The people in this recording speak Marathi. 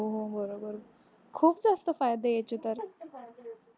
हो बरोबर खूप जास्त फायदे याचे तर.